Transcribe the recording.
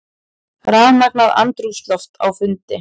Rafmagnað andrúmsloft á fundi